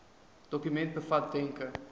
dokument bevat wenke